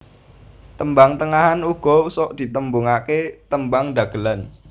Tembang Tengahan uga sok ditembungake Tembang Dhagelan